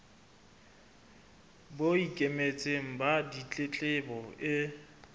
bo ikemetseng ba ditletlebo e